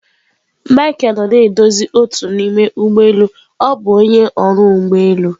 Micheal nọ na-edozi otu n'ime ụgbọ elu ọ bụ onye ọrụ ụgbọ elu.